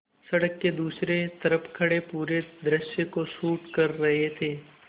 सड़क के दूसरी तरफ़ खड़े पूरे दृश्य को शूट कर रहे थे